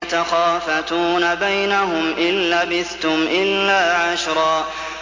يَتَخَافَتُونَ بَيْنَهُمْ إِن لَّبِثْتُمْ إِلَّا عَشْرًا